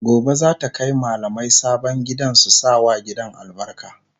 Gobe zata Kai mallamai sabon gidan su sa wa gidan albarka